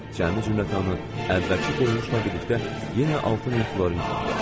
Cəmi zənglərim əvvəlki qoyuluşlarımla birlikdə yenə 6000 florin olmuşdu.